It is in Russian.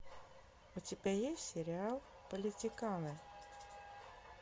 у тебя есть сериал политиканы